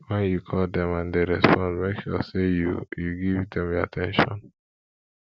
when you call them and they respond make sure say you you give them your at ten tion